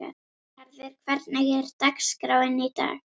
Ríkharður, hvernig er dagskráin í dag?